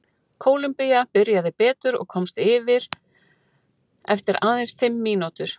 Kólumbía byrjaði betur og komst yfir eftir aðeins fimm mínútur.